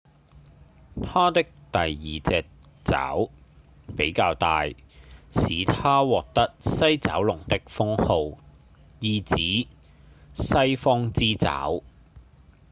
牠的第二隻爪比較大使牠獲得西爪龍的封號意指「西方之爪」